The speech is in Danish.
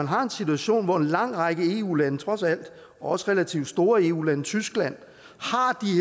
har en situation hvor en lang række eu lande og trods alt også relativt store eu lande tyskland